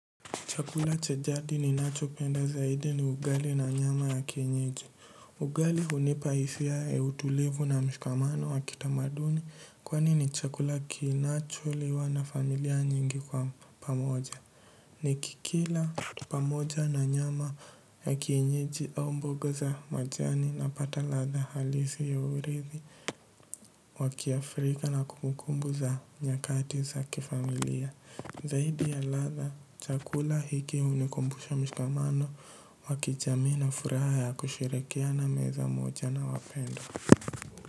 Chakula cha jadi ninacho penda zaidi ni ugali na nyama ya kienyeji. Ugali hunipa hisia ya utulevu na mshikamano wa kitamaduni kwani ni chakula kinacho liwa na familia nyingi kwa pamoja. Nikikila pamoja na nyama ya kienyeji au mboga za majani napata ladha halisi ya uridhi wa kiafrika na kumbukumbu za nyakati za kifamilia. Zaidi ya ladha, chakula hiki hunikumbusha mshikamano, wakijami na furaha ya kusherekea na meza moja na wapendo.